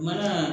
Mana